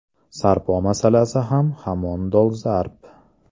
Sarpo masalasi ham hamon dolzarb.